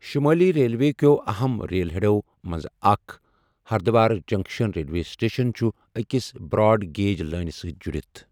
شُمٲلی ریلوے کٮ۪و اہم ریل ہٮ۪ڈو منٛزٕ اکھ، ہردوار جنٛکشن ریلوے سٹیشن چھُ أکِس برٛاڈ گیج لٲنہِ سۭتۍ جُڑِتھ ۔